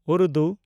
Urdu